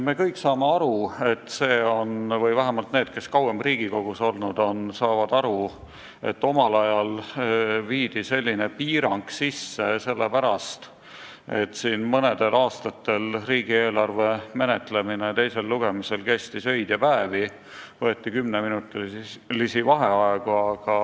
Me kõik saame aru – või vähemalt need, kes kauem Riigikogus olnud on, saavad aru –, et omal ajal viidi selline piirang sisse sellepärast, et mõnel aastal kestis riigieelarve teine lugemine öid ja päevi, kuna enne hääletamist võeti 10-minutilisi vaheaegu.